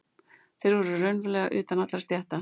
Þeir voru raunverulega utan allra stétta.